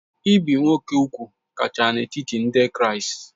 Ibi úgwù nwoke kacha n'etiti ndị Kraịst